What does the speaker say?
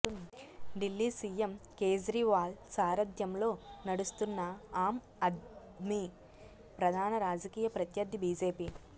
Delhi CM Kejriwal సారధ్యంలో నడుస్తున్న ఆమ్ ఆద్మీ ప్రధాన రాజకీయ ప్రత్యర్థి బీజేపీ